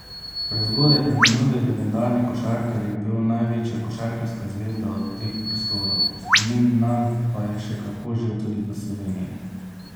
Prezgodaj preminuli legendarni košarkar je bil največja košarkarska zvezda teh prostorov, spomin nanj pa je še kako živ tudi v Sloveniji.